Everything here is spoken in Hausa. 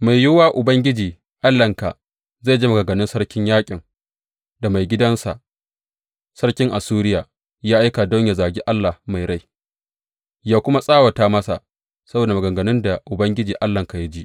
Mai yiwuwa Ubangiji Allahnka zai ji maganganun sarkin yaƙin da maigidansa, sarkin Assuriya, ya aika don yă zagi Allah mai rai, ya kuma tsawata masa saboda maganganun da Ubangiji Allahnka ya ji.